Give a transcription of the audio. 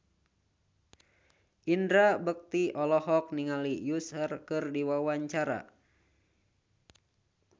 Indra Bekti olohok ningali Usher keur diwawancara